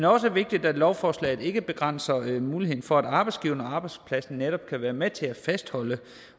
også vigtigt at lovforslaget ikke begrænser muligheden for at arbejdsgiveren og arbejdspladsen netop kan være med til at fastholde